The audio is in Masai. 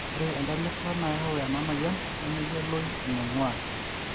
ore atua entalipa nayau enamoyian nemeyioloi eneingua